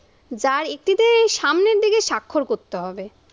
যার একটি তে সামনের দিকে স্বাক্ষর করতে হবে।